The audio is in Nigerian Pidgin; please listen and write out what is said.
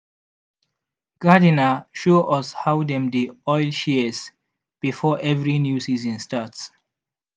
gardener show us how dem dey oil shears before every new season start.